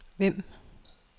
Vemb